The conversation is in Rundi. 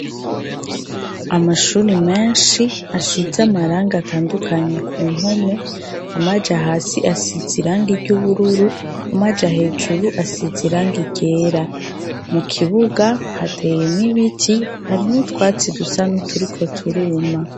Amashure menshi asize amarangi atandukanye kumpome, amaja hasi asize irangi ryubururru amaja hejuru asize irangi ryera. Mukibuga hateyemwo ibiti hari n'utwatsi dusa nuturiko turuma.